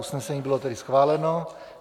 Usnesení bylo tedy schváleno.